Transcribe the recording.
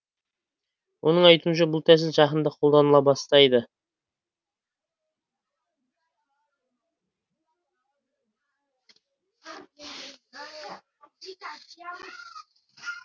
оның айтуынша бұл тәсіл жақында қолданыла бастайды